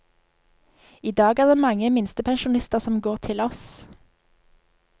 I dag er det mange minstepensjonister som går til oss.